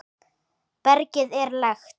bergið er lekt.